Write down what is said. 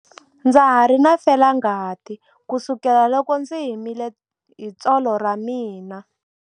Ndza ha ri na felangati kusukela loko ndzi himile hi tsolo ra mina.